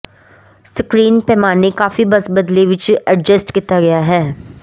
screen ਪੈਮਾਨੇ ਕਾਫ਼ੀ ਬਸ ਬਦਲੇ ਵਿੱਚ ਐਡਜਸਟ ਕੀਤਾ ਗਿਆ ਹੈ